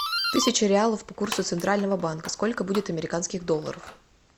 тысяча реалов по курсу центрального банка сколько будет американских долларов